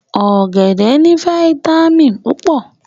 Ọ̀gẹ̀dẹ̀ ní fáyítámìnì púpọ̀